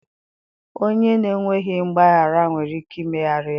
Onye na-enweghị mgbaghara nwere ike imegharị ya,